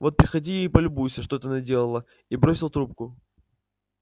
вот приходи и полюбуйся что ты наделала и бросил трубку